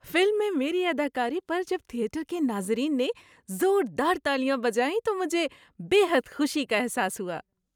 Film میں میری اداکاری پر جب تھیٹر کے ناظرین نے زور دار تالیاں بجائیں تو مجھے بے حد خوشی کا احساس ہوا۔